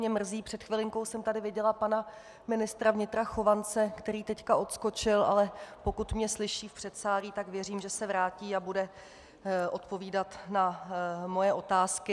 Mě mrzí, před chvilinkou jsem tady viděla pana ministra vnitra Chovance, který teď odskočil, ale pokud mě slyší v předsálí, tak věřím, že se vrátí a bude odpovídat na moje otázky.